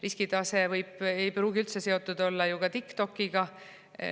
Riskitase ei pruugi üldse olla seotud TikTokiga.